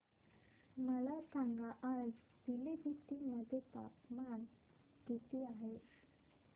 मला सांगा आज पिलीभीत मध्ये तापमान किती आहे